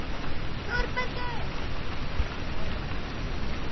ÞÓRBERGUR: Já, og hvað með það?